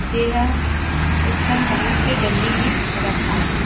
जेहा एक ठन बास के डंडी में रखा हे।